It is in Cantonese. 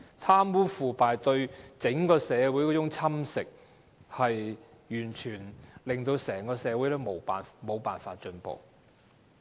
貪污腐敗侵蝕整個社會，令社會完全無法進步。